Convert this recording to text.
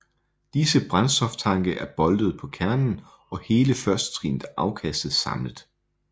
Disse brændstoftanke er boltet på kernen og hele førstetrinnet afkastes samlet